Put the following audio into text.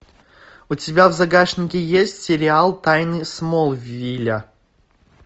у тебя в загашнике есть сериал тайны смолвиля